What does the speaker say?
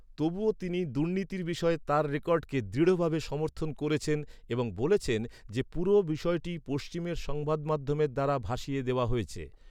তবুও, তিনি দুর্নীতির বিষয়ে তার রেকর্ডকে দৃঢ়ভাবে সমর্থন করেছেন এবং বলেছেন যে পুরো বিষয়টি "পশ্চিমের সংবাদমাধ্যমের দ্বারা ভাসিয়ে দেওয়া হয়েছে।"